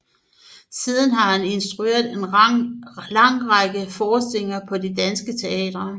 Siden har han instrueret en lang række forestillinger på de danske teatre